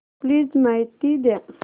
please माहिती द्या